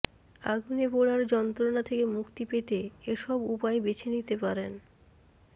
আগুনে পোড়ার যন্ত্রণা থেকে মুক্তি পেতে এসব উপায় বেছে নিতে পারেন